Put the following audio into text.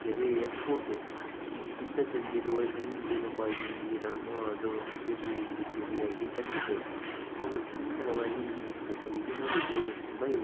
ಕೆರೆಯ ಫೋಟೋ ಗುಡ್ಡದಲ್ಲಿ ಇರುವ ಹಿಂದಿನ ಬಾವಿಯಾ ನೀರನ್ನು ಅದು ಅರಿದು ಇಲ್ಲಿ ಜರಿಯಾಗಿ ಬಂದಿದ್ದೆ. ಎಷ್ಟೊಂದು ಸುಂದರವಾಗಿ ಈ ಫೋಟೋ ಇದೆ ನೋಡಿ ನೀರು ತುಂಬಾ ಇದೆ.